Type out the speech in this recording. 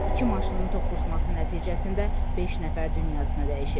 İki maşının toqquşması nəticəsində beş nəfər dünyasını dəyişib.